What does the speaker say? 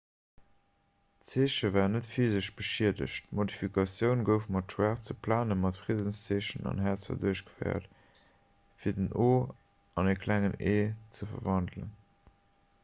d'zeeche war net physesch beschiedegt d'modifikatioun gouf mat schwaarze plane mat friddenszeechen an häerzer duerchgeféiert fir den o an e klengen e ze verwandelen